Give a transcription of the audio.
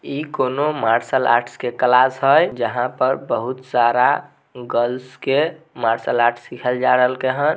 ई कोनो martial arts के class है जहाँ पर बहुत सारा गर्ल्स के मार्सल आर्ट्स सिखाल जाय रहल के हैन।